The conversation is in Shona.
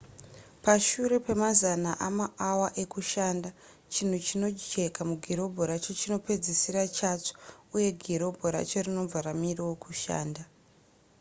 pashure pemazana emaawa ekushanda chinhu chinojeka mugirobhu racho chinopedzisira chatsva uye girobhu racho rinobva ramirawo kushanda